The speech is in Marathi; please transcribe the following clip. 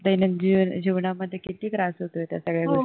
दैनंदिन जीवनामध्ये किती त्रास होतोय त्या सगळ्या गोष्टींचा